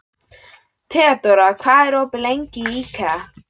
Þeódóra, hvað er opið lengi í IKEA?